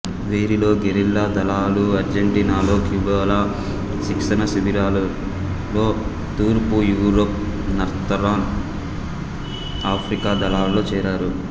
వీరిలో గెరిల్లా దళాలుఅర్జెంటీనాలో క్యూబాలో శిక్షణా శిబిరాలలోతూర్పు యూరప్ నార్తరన్ ఆఫ్రికా దళాలలో చేరారు